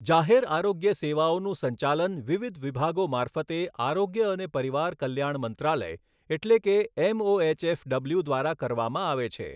જાહેર આરોગ્ય સેવાઓનું સંચાલન વિવિધ વિભાગો મારફતે આરોગ્ય અને પરિવાર કલ્યાણ મંત્રાલય એટલે કે એમઓએચએફડબલ્યુ દ્વારા કરવામાં આવે છે.